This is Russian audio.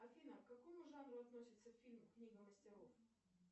афина к какому жанру относится фильм книга мастеров